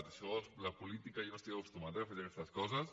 a això de la política jo no hi estic acostumat eh a fer aquestes coses